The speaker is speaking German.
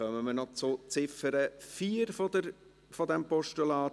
Dann kommen wir noch zur Ziffer 4 dieses Postulats.